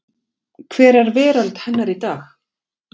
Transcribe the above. hver er veröld hennar í dag.